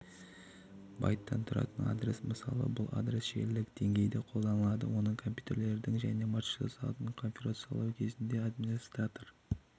байттан тұратын адрес мысалы бұл адрес желілік деңгейде қолданылады оны компьютерлерді және маршрутизаторларды конфигурациялау кезінде администратор